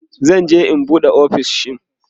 zan je in an buɗe ofishin